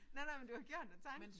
Nej nej men du har gjort dig tanken